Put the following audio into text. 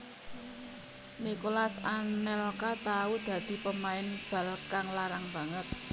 Nicolas Anelka tahu dadi pemain bal kang larang banget